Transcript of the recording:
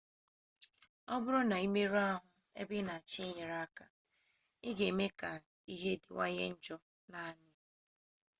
ọ bụrụ na ị merụọ ahụ ebe ị na-achọ ịnye aka ị ga-eme ka ihe dịwanye njọ naanị